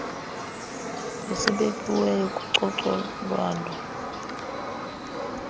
esibekiweyo kucoco lwawo